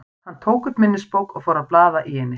Hann tók upp minnisbók og fór að blaða í henni.